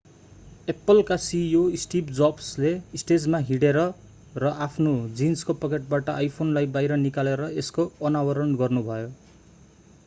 Apple apple का CEO Steve Jobs steve jobsले स्टेजमा हिँडेर र आफ्नो जीन्सको पकेटबाट आइफोन iphoneलाई बाहिर निकालेर यसको अनावरण गर्नुभयो।